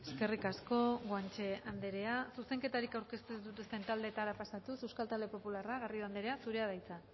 eskerrik asko guanche anderea zuzenketarik aurkeztu ez dituzten taldetara pasatuz euskal talde popularra garrido anderea zurea da hitza